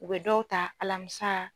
U bɛ dɔw ta alamisa